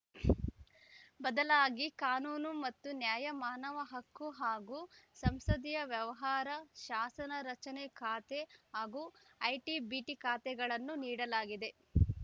ಬದಲಾಗಿ ಕಾನೂನು ಮತ್ತು ನ್ಯಾಯ ಮಾನವಹಕ್ಕು ಹಾಗೂ ಸಂಸದೀಯ ವ್ಯವಹಾರ ಶಾಸನ ರಚನೆ ಖಾತೆ ಹಾಗೂ ಐಟಿಬಿಟಿ ಖಾತೆಗಳನ್ನು ನೀಡಲಾಗಿದೆ